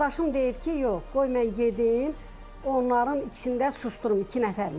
Qardaşım deyir ki, yox, qoy mən gedim, onların içində susdurum, iki nəfərmiş də.